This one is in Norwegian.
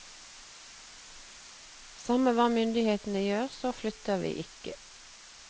Samme hva myndighetene gjør, så flytter vi ikke.